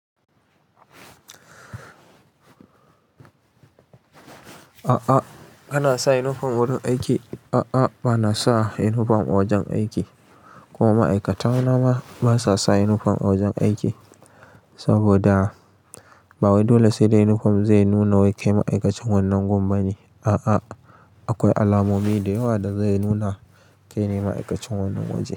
A'a kana sa yinifom wurin aiki? A'a ba na sa yinifom a wajen aiki, kuma ma'aikata nama ba sa sa yinifom a wajen aiki saboda ba wai dole sai da yinifom zai nuna wai kai ma'aikacin wannan gun ba ne. A'a akwai alamomi da yawa da zai nuna kai ne ma'aikacin wannan waje.